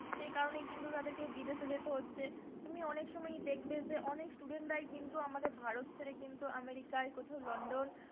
সেই কারণে কিন্তু তাদেরকে বিদেশে যেতে হচ্ছে তুমি অনেক সময় দেখবে যে অনেক student রাই কিন্তু আমাদের ভারত ছেড়ে কিন্তু আমেরিকায় কোথাও লন্ডন,